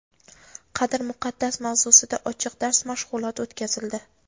qadr muqaddas mavzusida ochiq dars mashg‘uloti o‘tkazildi.